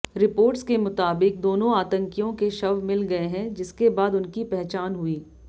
reports के मुताबिक दोनों आतंकियों के शव मिल गए हैं जिसके बाद उनकी पहचान हुई